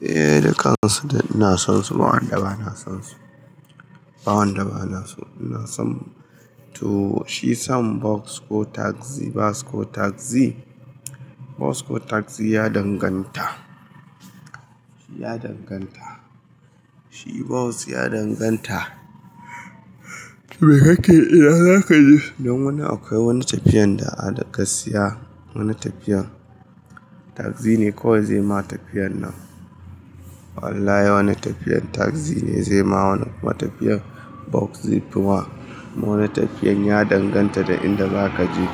Eh, dukansu dai ina son su, ba wanda ba na son su. Ba wanda ba na so. Ina son, to shi son bas ko tagzi, bas ko tagzi. Bas ko tagzi ya danganta. Ya danganta. Shi bas ya danganta. Me kake ina za ka je? Don wani akwai wani tafiyan da aka siya, wani tafiyan tagzi ne kawai zai ma tafiyan nan. Wallahi wani tafiyan tagzi ne zai ma wani tafiyan bas zai fi ma wani tafiyan ya danganta da inda za ka je.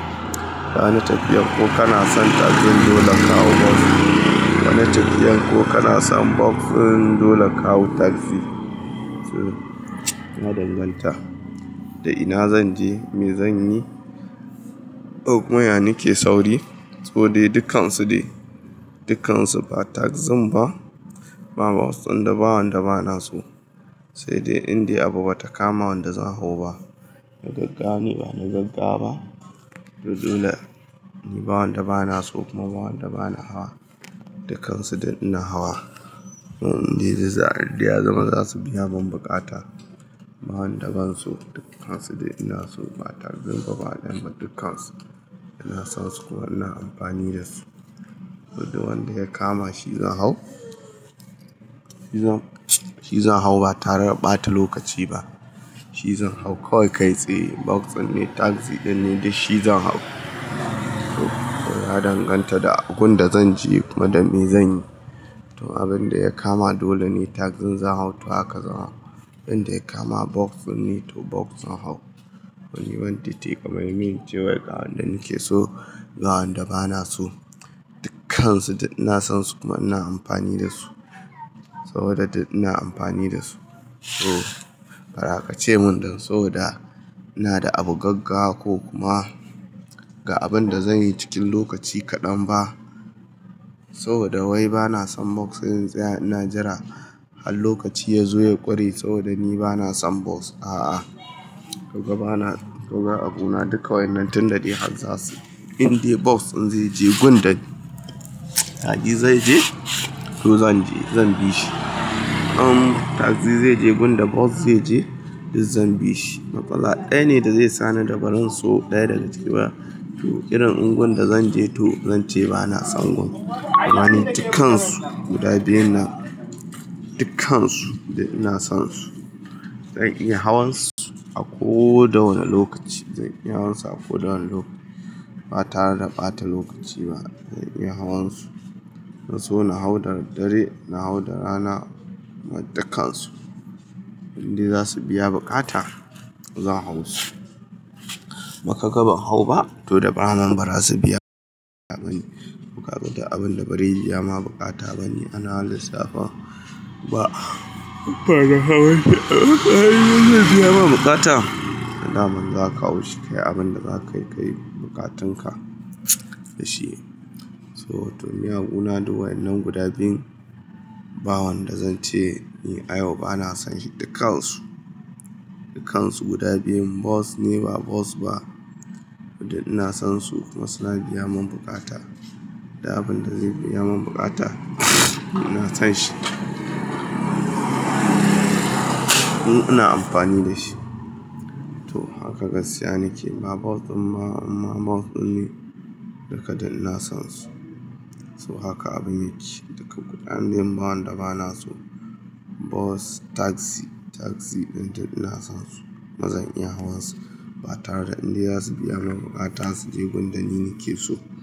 Wani tafiyan ko kana son tagzin dole ka hau bas. Wani tafiyan ko kana son bas dole ka hau tagzi. Ya danganta da ina zan je, me zan yi. O maya nake sauri saboda dukansu dai, dukansu ba tagzin ba, ba bas, inda ba wanda ba na so. Sai dai indai abu bata kama wanda zan hau ba. Na gaggara ne, ba na gaggara ba. To dole ni ba wanda ba na so kuma ba wanda ba na hawa. Dukansu dai ina hawa. Inda za, indai ya zama za su biya mun bukata. Ba wanda ban so dukansu dai ina so ba tagzin ba, bana dukansu. Ina son su kuma ina amfani da su. Saboda wanda ya kama shi zan hau. Shi zan, shi zan hau ba tare da bata lokaci ba. Shi zan hau kawai kai tsaye bas din ne, tagzi din ne dai shi zan hau. Ya danganta da gunda zan je kuma da me zan yi. To abin da ya kama dole ne tagzin zan hau to haka zawa. Inda ya kama bas dinne to bas zan hau. Wani wani titi kamar min cewa ga wanda nake so, ga wanda ba na so. Dukansu duk ina son su kuma ina amfani da su. Saboda ina amfani da su. To, bara ka ce mun don saboda ina da abu gaggawa ko kuma ga abin da zan yi cikin lokaci kadan ba. Saboda wai bana son bas sai in tsaya ina jira har lokaci yazo ya kure saboda ni bana son bas. A'a, do bana, doga a gona duka wa'inan tun da dai har za su. Indai bas din zai je gunda ni, tagzi zai je to zan je, zan bi shi. Am, tagzi zai je gunda bas zai je, duk zan bi shi. Makala daya ne da zai sa ni dabarar so daya daga ciki ba. To irin ingun da zan je to zan ce bana son gun. Kur'ani dukkansu guda biyun nan, dukkansu duk ina sonsu. Zan iya hawansu a ko da wane lokaci. Zan iya hawansu a ko da wane lokaci ba tare da bata lokaci ba. Zan iya hawansu. Don so na hau da daddare, na hau da rana, dukansu. Inda za su biya bukata, zan hau su. Ba kaga ban hau ba to da ba man bara su biya bane to kaga duk abinda bazai biya maka bukata ba ana lissafa ba. Ba da hauwa ce. Ai, yanzu zai biya mun bukata. Hada man za ka wuce kai abin da za ka yi, ka yi bukatunka da shi. So, to miyagun na da wa'inan guda biyun. Ba wanda zan ce ni ayau bana son shi dukansu. Dukansu guda biyun bas ne ba, bas ba. Duk ina san su kuma suna biya mun bukata. Da abin da zai biya mun bukata, ina son shi. Ina amfani da shi. To, haka gaskiya nake. Ba bas amma bas ne duka dai ina son su. So haka abun yake. Duka guda biyun ba wanda ba na so. Bas tagzi din duka ina sonsu ma zan iya hawansu ba tare da inda iza su biya mun bukata su je gunda ni nake so.